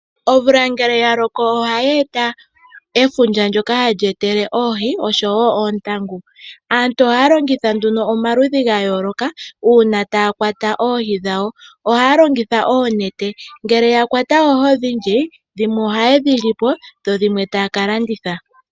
Omvula ngele yaloko ohaayeta efundja ndjoka halyeetele oohi oshowo oontangu aantu ohaya longitha nduno omaludhi gaayooloka uuna taa kwata oohi dhawo ohaya longitha oonete ,ngele yakwata oohi odhindji dhimwe ohaye dhi lipo dho dhimwe taya ka landitha.